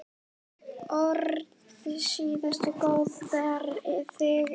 Orðstír góður ber þig yfir.